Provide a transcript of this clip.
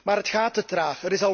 Maar het gaat te traag.